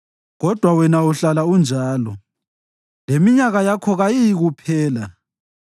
Kodwa wena uhlala unjalo, leminyaka yakho kayiyikuphela.